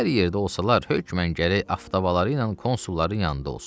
Hər yerdə olsalar hökmən gərək avtobaları ilə konsulların yanında olsun.